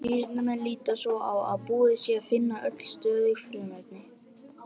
Vísindamenn líta svo á að búið sé að finna öll stöðug frumefni.